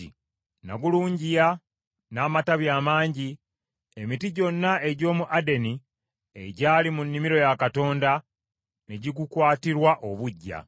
Nagulungiya n’amatabi amangi, emiti gyonna egy’omu Adeni egyali mu nnimiro ya Katonda ne gigukwatirwa obuggya.